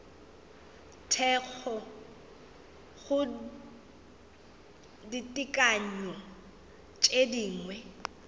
thekgo go ditekanyo tše dingwe